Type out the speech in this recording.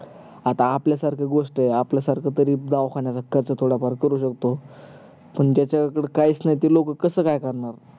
आता आपल्या सारख्या गोष्टी आहेत आपल्या सारखे दवाखान्यात च थोड फार काही करू शकतो पण ज्याच्याकड काहीच नाही ते लोक कस काय करणार